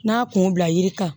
N'a kun bila yiri kan